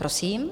Prosím.